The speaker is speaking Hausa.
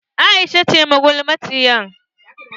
Aisha ce magulmaciyar.